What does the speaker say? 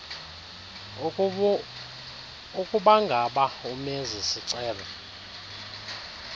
ukubangaba umenzi sicelo